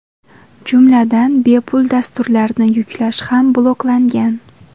Jumladan, bepul dasturlarni yuklash ham bloklangan.